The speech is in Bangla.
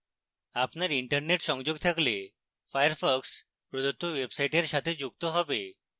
আপনার internet সংযোগ থাকলে firefox প্রদত্ত ওয়েবসাইটের সাথে যুক্ত have